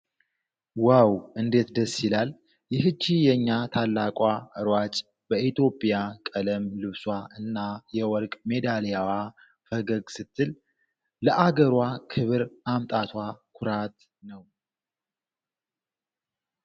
ዋው! እንዴት ደስ ይላል! ይህች የኛ ታላቅ ሯጭ! በኢትዮጵያ ቀለም ልብሷ እና የወርቅ ሜዳሊያዋ ፈገግ ስትል፣ ለአገሯ ክብር ማምጣቷ ኩራት ነው!